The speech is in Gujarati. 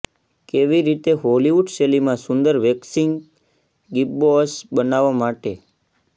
કેવી રીતે હોલિવૂડ શૈલીમાં સુંદર વેક્સિંગ ગીબ્બોઅસ બનાવવા માટે